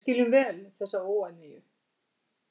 Við skiljum vel þessa óánægju